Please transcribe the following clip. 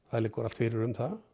það liggur allt fyrir um það